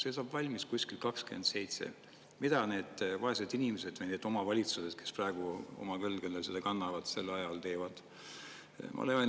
See saab valmis kuskil 2927. Mida need vaesed inimesed või need omavalitsused, kes praegu oma õlgadel seda kannavad, sel ajal teevad?